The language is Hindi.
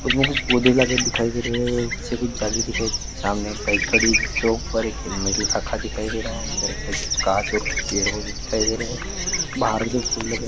इसमें कुछ पौधे लगे दिखाई दे रहा है कुछ जाली दिखाई दे रही है सामने एक बाइक खड़ी जिसके ऊपर हेलमेट रखा दिखाई दे रहा है अंदर के साइड कुछ कांच ओर कुछ पेड़ वो भी दिखाई दे रहा है बहार मै जो फूल लगे है।